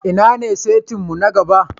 Inna ne saita'n mu na gaba?